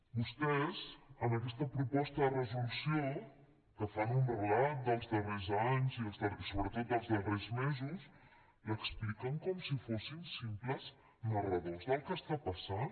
vostès en aquesta proposta de resolució que fan un relat dels darrers anys i sobretot dels darrers mesos l’expliquen com si fossin simples narradors del que està passant